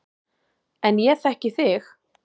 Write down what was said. En ég þekki þig.